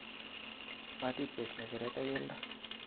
Matitych nge'cheret ak keldo